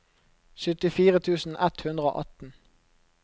syttifire tusen ett hundre og atten